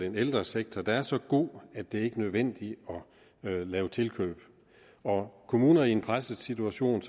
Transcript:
en ældresektor der er så god at det ikke er nødvendigt at lave tilkøb når kommuner i en presset situation